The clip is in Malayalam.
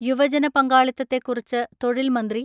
യുവജന പങ്കാളിത്തത്തെക്കുറിച്ച് തൊഴിൽ മന്ത്രി